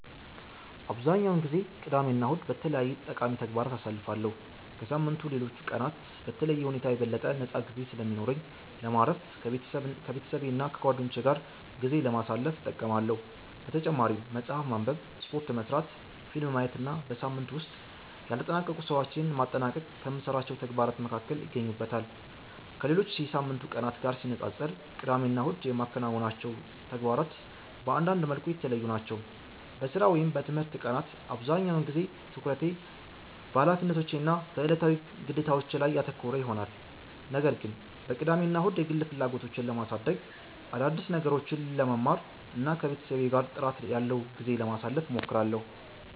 አብዛኛውን ጊዜ ቅዳሜና እሁድን በተለያዩ ጠቃሚ ተግባራት አሳልፋለሁ። ከሳምንቱ ሌሎች ቀናት በተለየ ሁኔታ የበለጠ ነፃ ጊዜ ስለሚኖረኝ ለማረፍ፣ ከቤተሰቤና ከጓደኞቼ ጋር ጊዜ ለማሳለፍ እጠቀማለሁ። በተጨማሪም መጽሐፍ ማንበብ፣ ስፖርት መሥራት፣ ፊልም ማየት እና በሳምንቱ ውስጥ ያልተጠናቀቁ ሥራዎችን ማጠናቀቅ ከምሠራቸው ተግባራት መካከል ይገኙበታል። ከሌሎች የሳምንቱ ቀናት ጋር ሲነጻጸር ቅዳሜና እሁድ የማከናውናቸው ተግባራት በአንዳንድ መልኩ የተለዩ ናቸው። በሥራ ወይም በትምህርት ቀናት አብዛኛውን ጊዜ ትኩረቴ በኃላፊነቶቼ እና በዕለታዊ ግዴታዎቼ ላይ ያተኮረ ይሆናል። ነገር ግን በቅዳሜና እሁድ የግል ፍላጎቶቼን ለማሳደግ፣ አዳዲስ ነገሮችን ለመማር እና ከቤተሰቤ ጋር ጥራት ያለው ጊዜ ለማሳለፍ እሞክራለሁ።